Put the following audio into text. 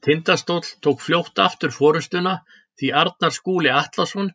Tindastóll tók fljótt aftur forystuna því Arnar Skúli Atlason